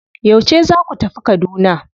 Yauce za ku tafi Kaduna?